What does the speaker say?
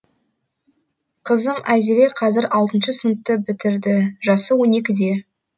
қызым айзере қазір алтыншы сыныпты бітірді жасы он екіде